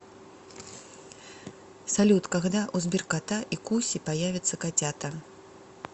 салют когда у сберкота и куси появятся котята